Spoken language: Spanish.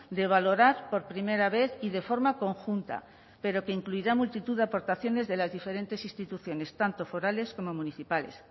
de valorar por primera vez y de forma conjunta pero que incluirá multitud de aportaciones de las diferentes instituciones tanto forales como municipales